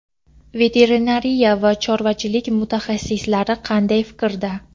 veterinariya va chorvachilik mutaxassislari qanday fikrda?.